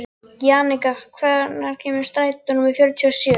Jannika, hvenær kemur strætó númer fjörutíu og sjö?